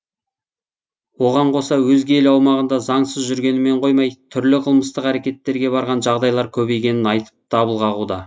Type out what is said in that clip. оған қоса өзге ел аумағында заңсыз жүргенімен қоймай түрлі қылмыстық әрекеттерге барған жағдайлар көбейгенін айтып дабыл қағуда